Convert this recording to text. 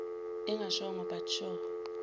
engashongo but sure